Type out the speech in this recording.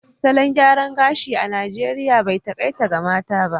Salon gyaran gashi a Najeriya bai takaita ga mata ba